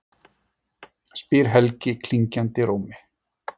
spyr Helgi klingjandi rómi.